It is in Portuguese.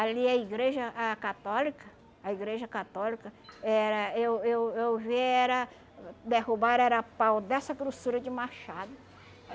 Ali a igreja a católica, a igreja católica, era... Eu eu eu vê era... Derrubaram era a pau dessa grossura de Machado.